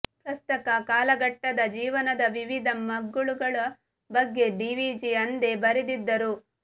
ಪ್ರಸಕ್ತ ಕಾಲಘಟ್ಟದ ಜೀವನದ ವಿವಿಧ ಮಗ್ಗುಲುಗಳ ಬಗ್ಗೆ ಡಿವಿಜಿ ಅಂದೇ ಬರೆದಿದ್ದರು